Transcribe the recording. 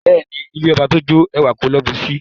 Beeni, ilẹ̀ ọbà tó jó, èwà kò ló bùṣí.